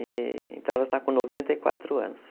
Então, ela está com noventa e quatro anos.